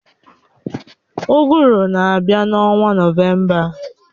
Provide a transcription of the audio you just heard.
Uguru na-abịa n'ọnwa nọvemba